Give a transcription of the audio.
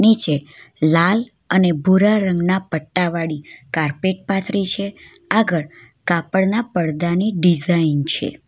નીચે લાલ અને ભૂરા રંગના પટ્ટા વાળી કાર્પેટ પાથરી છે આગળ કાપડના પડદાની ડિઝાઇન છે.